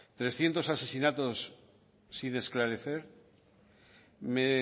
trescientos asesinatos sin esclarecer me